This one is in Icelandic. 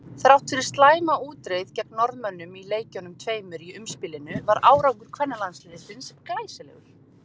Þrátt fyrir slæma útreið gegn Norðmönnum í leikjunum tveimur í umspilinu var árangur kvennalandsliðsins glæsilegur.